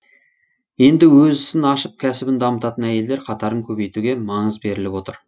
енді өз ісін ашып кәсібін дамытатын әйелдер қатарын көбейтуге маңыз беріліп отыр